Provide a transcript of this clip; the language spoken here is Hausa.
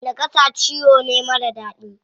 Naƙasa ciwo ne marar daɗi.